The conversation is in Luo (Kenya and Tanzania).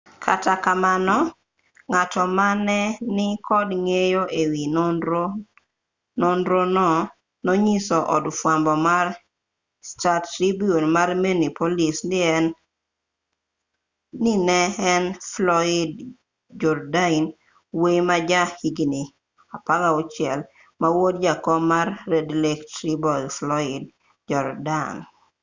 kata kamano ng'ato mane ni kod ng'eyo e wi nonrono nonyiso od fwambo mar star-tribune ma minneapolis ni ne en floyd jourdain wuoyi ma ja higni 16 ma wuod jakom mar red lake tribal floyd jourdain